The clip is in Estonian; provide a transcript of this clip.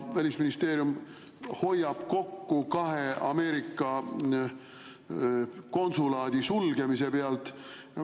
Välisministeerium hoiab kokku kahe Ameerika konsulaadi sulgemise pealt.